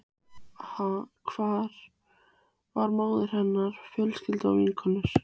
Hvar var móðir hennar, fjölskylda, vinkonur?